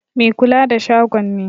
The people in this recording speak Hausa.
Mai kula da shagon ne.